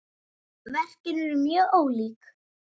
Verkin eru mjög ólík.